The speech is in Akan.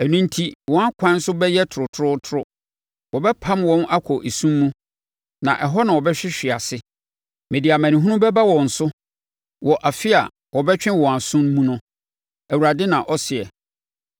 “Ɛno enti, wɔn ɛkwan so bɛyɛ torotorotoro; wɔbɛpam wɔn akɔ esum mu na ɛhɔ na wɔbɛhwehwe ase. Mede amanehunu bɛba wɔn so wɔ afe a wɔbɛtwe wɔn aso mu no,” Awurade na ɔseɛ.